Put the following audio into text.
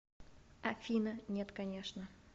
афина нет конечно